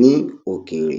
ní òkèèrè